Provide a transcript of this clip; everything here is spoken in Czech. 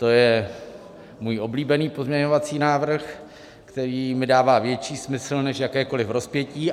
To je můj oblíbený pozměňovací návrh, který mi dává větší smysl než jakékoli rozpětí.